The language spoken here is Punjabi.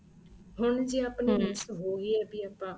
ਹੁਣ ਜ਼ੇ ਆਪਣੇ miss ਹੋਈ ਏ ਵੀ ਆਪਣਾ